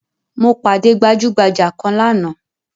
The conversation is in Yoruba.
Mo pàdé gbajugbaja kan lánàá